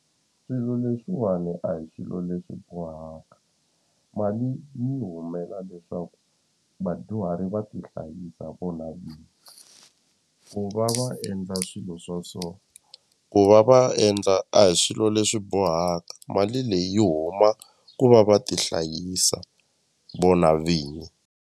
Swilo leswiwani a hi swilo leswi bohaka mali yi humela leswaku vadyuhari va tihlayisa vona vinyi ku va va endla swilo swa so ku va va endla a hi swilo leswi bohaka mali leyi yi huma ku va va tihlayisa vona vinyi.